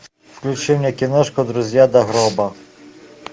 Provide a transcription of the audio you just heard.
включи мне киношку друзья до гроба